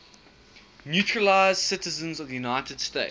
naturalized citizens of the united states